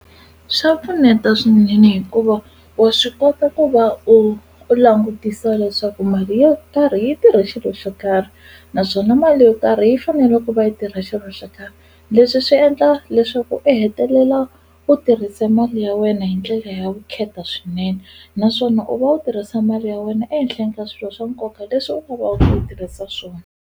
Swa pfuneta swinene hikuva wa swi kota ku va u u langutisa leswaku mali yo karhi yi tirhe xilo xo karhi naswona mali yo karhi yi fanele ku va yi tirha xilo xo karhi leswi swi endla leswaku u hetelela u tirhise mali ya wena hi ndlela ya vukheta swinene naswona u va u tirhisa mali ya wena ehenhleni ka swilo swa nkoka leswi ku yi tirhisa swona.